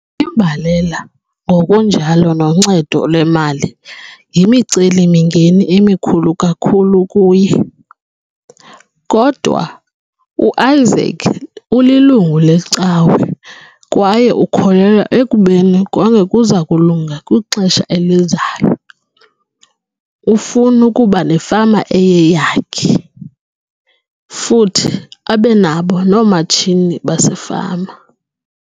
Imbalela ngokunjalo noncedo lwemali yimiceli-mingeni emikhulu kakhulu kuye, kodwa uIsaac ulilungu lecawa kwaye ukholelwa ekubeni konke kuza kulunga kwixesha elizayo. Ufuna ukuba nefama eyeyakhe, futhi abe nabo noomatshini basefama.